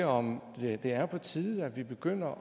om ikke det er på tide at vi begynder